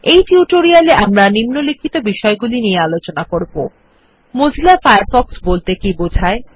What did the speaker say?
এই টিউটোরিয়াল এ আমরা নিম্নলিখিত বিষয় গুলি নিয়ে আলোচনা মজিলা ফায়ারফ্ক্ষ বলতে কী বোঝায়